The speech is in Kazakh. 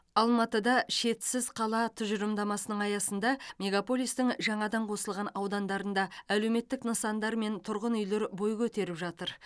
алматыда шетсіз қала тұжырымдамасының аясында мегаполистің жаңадан қосылған аудандарында әлеуметтік нысандар мен тұрғын үйлер бой көтеріп жатыр